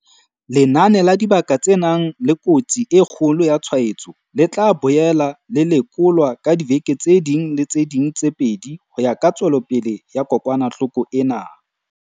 Lenane la dibaka tse nang le kotsi e kgolo ya tshwaetso le tla boela le lekolwa ka diveke tse ding le tse ding tse pedi ho ya ka tswelopele ya kokwanahloko ena.